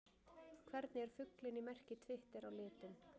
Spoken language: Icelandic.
Hvernig er fuglinn í merki Twitter á litinn?